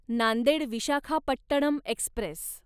Nanded Visakhapatnam Express